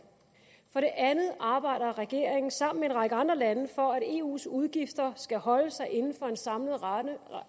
for det andet arbejder regeringen sammen med en række andre lande for at eus udgifter skal holde sig inden for en samlet ramme